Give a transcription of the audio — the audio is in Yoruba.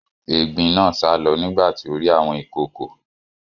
Egbin náà sálọ nígbà tí ó rí àwọn ìkòokò.